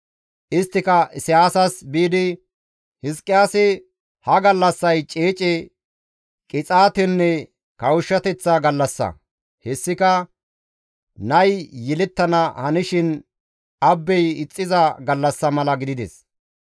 Isttika Isayaasas biidi, «Hizqiyaasi, ‹Ha gallassay ceece, qixaatenne kawushshateththa gallassa; hessika nay yelettana hanishin abbey ixxiza gallassa mala gidides.